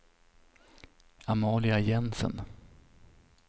Amalia Jensen